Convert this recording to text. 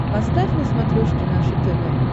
поставь на смотрешке наше тв